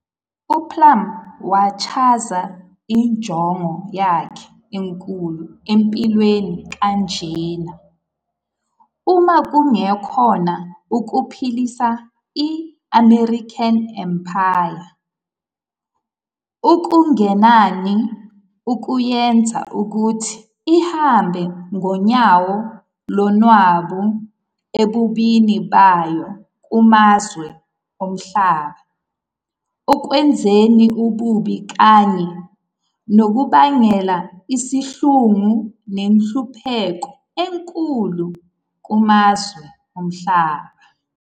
UBlum wachaza injongo yakhe enkulu empilweni kanjena- - "Uma kungekhona ukuphelisa i-American Empire, okungenani ukuyenza ukuthi ihambe ngonyawo lonwabu ebubini bayo kumazwe omhlaba ekwenzeni ububi kanye nokubangela isihluku nenhlupheko enkulu kumazwe omhlaba."